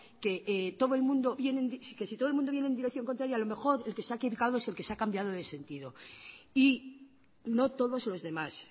que si todo el mundo vienen en dirección contraria a lo mejor el que se ha equivocado ha sido el que se ha cambiado de sentido y no todos los demás